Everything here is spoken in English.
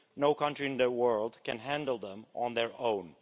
No country in the world can handle them on their own.